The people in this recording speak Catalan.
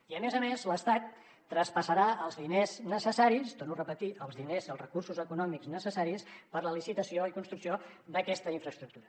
i a més a més l’estat traspassarà els diners necessaris ho torno a repetir els diners i els recursos econòmics necessaris per a la licitació i construcció d’aquesta infraestructura